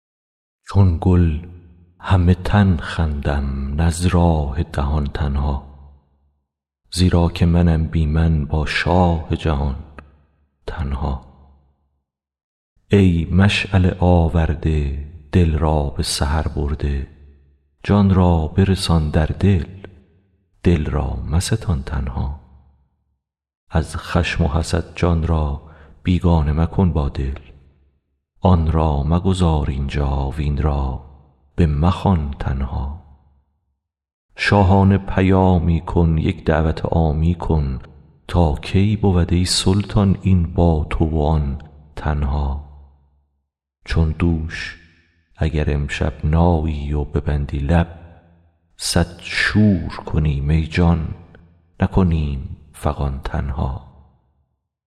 چون گل همه تن خندم نه از راه دهان تنها زیرا که منم بی من با شاه جهان تنها ای مشعله آورده دل را به سحر برده جان را برسان در دل دل را مستان تنها از خشم و حسد جان را بیگانه مکن با دل آن را مگذار اینجا وین را بمخوان تنها شاهانه پیامی کن یک دعوت عامی کن تا کی بود ای سلطان این با تو و آن تنها چون دوش اگر امشب نایی و ببندی لب صد شور کنیم ای جان نکنیم فغان تنها